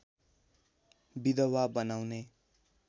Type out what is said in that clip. विधवा बनाउने